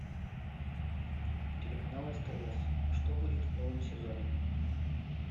телеканал стс что будет в новом сезоне